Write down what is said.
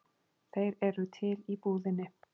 Þeir eru til í búðinni.